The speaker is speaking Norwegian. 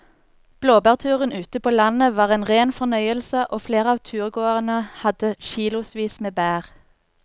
Blåbærturen ute på landet var en rein fornøyelse og flere av turgåerene hadde kilosvis med bær.